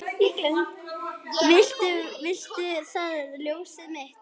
Viltu það ljósið mitt?